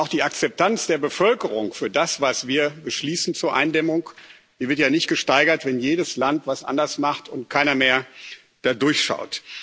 Denn auch die Akzeptanz der Bevölkerung für das, was wir zur Eindämmung beschließen, wird ja nicht gesteigert, wenn jedes Land was anderes macht und keiner mehr da durchschaut.